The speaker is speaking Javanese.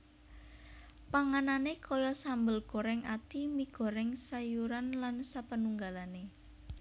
Panganane kaya sambel goreng ati mi goreng sayuran lan sapanunggalane